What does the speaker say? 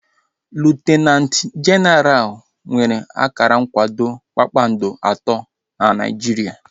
Liutinanti jenaral nwere akara nkwado kpakpando atọ na Naijiria